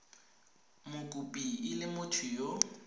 mokopi e le motho yo